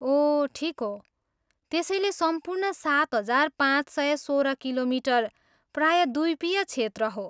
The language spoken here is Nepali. ओह ठिक हो! त्यसैले सम्पूर्ण सात हजार पाँच सय सोह्र किलोमिटर प्रायद्वीपीय क्षेत्र हो।